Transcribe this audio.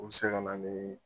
O be se ka na nii